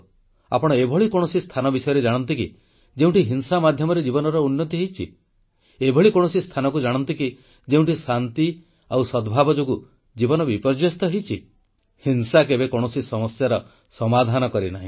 ଆପଣ ଏଭଳି କୌଣସି ସ୍ଥାନ ବିଷୟରେ ଜାଣନ୍ତି କି ଯେଉଁଠି ହିଂସା ମାଧ୍ୟମରେ ଜୀବନର ଉନ୍ନତି ହୋଇଛି ଏଭଳି କୌଣସି ସ୍ଥାନକୁ ଜାଣନ୍ତି କି ଯେଉଁଠି ଶାନ୍ତି ଓ ସଦ୍ଭାବ ଯୋଗୁଁ ଜୀବନ ବିପର୍ଯ୍ୟସ୍ତ ହୋଇଛି ହିଂସା କେବେ କୌଣସି ସମସ୍ୟାର ସମାଧାନ କରିନାହିଁ